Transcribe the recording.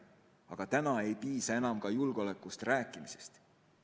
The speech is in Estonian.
Aga täna ei piisa enam ka julgeolekust rääkimisest.